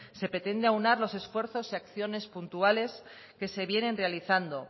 se pretende aunar los esfuerzos y acciones puntuales que se vienen realizando